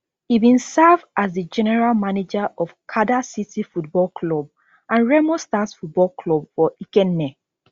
e bin serve as di general manager of kada city football club and remo stars football club for ikenne